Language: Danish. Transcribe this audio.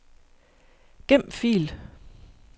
Gem fil.